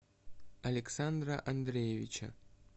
александра андреевича